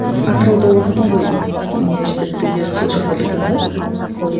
атырауда оқыдың ғой университетті де сол жақта бітірдің бе